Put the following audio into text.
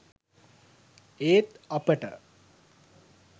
ඒත් අපට